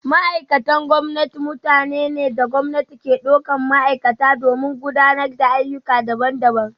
Ma’aikatan gwamnati mutane ne da gwamnati ke daukar ma’aikata domin gudanar da ayyuka daban-daban